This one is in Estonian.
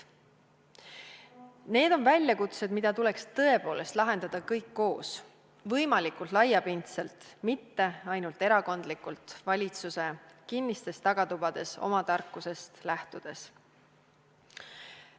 Need on väljakutsed, mida tuleks tõepoolest lahendada kõik koos, võimalikult laiapindselt, mitte ainult erakondlikult, valitsuse kinnistes tagatubades oma tarkusest lähtudes.